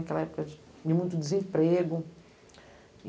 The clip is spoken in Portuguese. Aquela época de de muito desemprego.